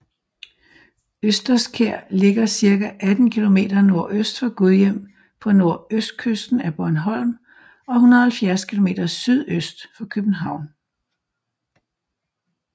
Østerskær ligger cirka 18 km nordøst for Gudhjem på nordøstkysten af Bornholm og 170 km sydøst for København